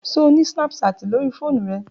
Ṣe o ni snapchat lori foonu rẹ?